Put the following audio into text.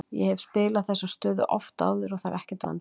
Ég hef spilað þessa stöðu oft áður og það er ekkert vandamál.